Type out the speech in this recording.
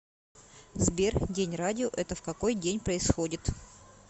сбер день радио это в какой день происходит